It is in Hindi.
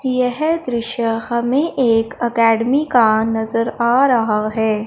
यह दृश्य हमें एक अकैडमी का नजर आ रहा है।